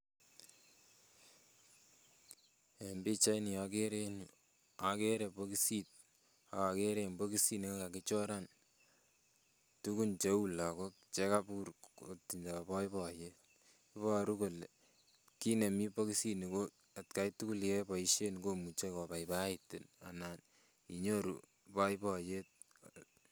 En bichaini okere en yuu okere bokosit ak okere en bokisit nekakichoran tukun cheu lokok chekoibur kotindoi boiboiyet, iboruu kole kit nemii bokisini ko atkai tuku nekeboishe komuche kobaibaitin anan inyoru boiboiyet.